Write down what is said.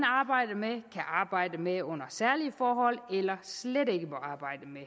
arbejde med under særlige forhold eller slet ikke må arbejde med